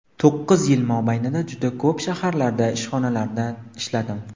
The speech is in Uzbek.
To‘qqiz yil mobaynida juda ko‘p shaharlarda, ishxonalarda ishladim.